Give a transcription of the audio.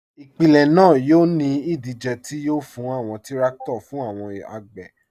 Ipilẹ̀ naa yọ̀ ni idije ti yọ̀ fún awọn tìrakito fún awọn agbè.